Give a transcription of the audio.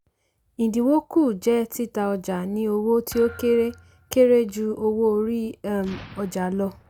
ìdínwó kù jẹ́ títa ọjà ní owó tí ó kéré kéré ju owó orí um ọjà lọ.